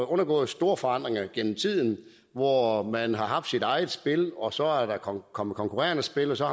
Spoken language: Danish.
undergået store forandringer gennem tiden hvor man har haft sit eget spil og så er der kommet konkurrerende spil og så